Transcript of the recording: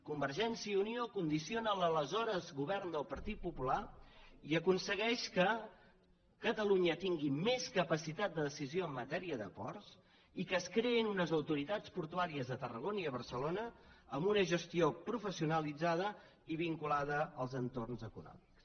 convergència i unió condiciona l’aleshores govern del partit popular i aconsegueix que catalunya tingui més capacitat de decisió en matèria de ports i que es creïn unes autoritats portuàries a tarragona i a barcelona amb una gestió professionalitzada i vinculada als entorns econòmics